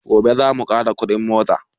Gobe zamu ƙara kuɗin mota